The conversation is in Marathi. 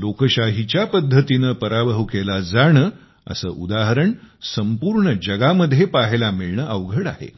लोकशाहीच्या पद्धतीने पराभव केला जाणे असे उदाहरण संपूर्ण जगामध्ये पहायला मिळणे अवघड आहे